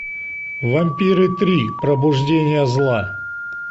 вампиры три пробуждение зла